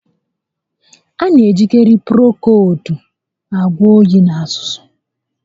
A na ejikarị Prokoowudu agwọ óyi na azụzụ